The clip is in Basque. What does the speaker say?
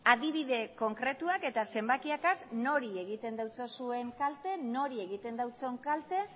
adibide konkretuak eta zenbakiekaz nori egiten diozuen kalte nori egiten dion kalte